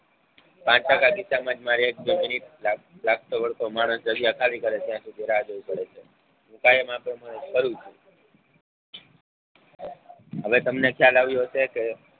પાંચ ટકા કિસ્સામાં જ મારે એક જંદલી લાગતો વળગતો માણશ જગ્યા ખાલી કરે છે ત્યાં સુધી રાહ જોવી પડે છે કાયમ આ પ્રમાણે કરું છું. હવે તમને ખ્યાલ આવ્યો હશે કે